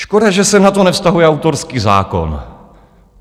Škoda, že se na to nevztahuje autorský zákon.